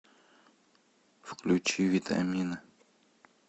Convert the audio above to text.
включи витамина